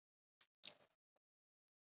Oft og mörgum sinnum.